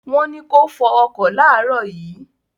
Wọ́n ní kó fọ ọkọ̀ láàrọ̀ yìí